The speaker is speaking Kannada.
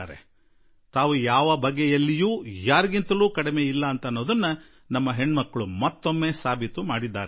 ನಮ್ಮ ಹೆಣ್ಣು ಮಕ್ಕಳು ಅವರು ಯಾವುದೇ ರೀತಿಯಲ್ಲೂ ಯಾರಿಗಿಂತಲೂ ಕಡಿಮೆ ಇಲ್ಲ ಎಂಬುದನ್ನು ಮತ್ತೊಮ್ಮೆ ಪುನಃ ಸಾಬೀತುಪಡಿಸಿದ್ದಾರೆ